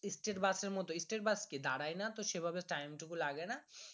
State bus র মতন state bus কি দাড়াইনা তো সেইভাবে time টুকু লাগে না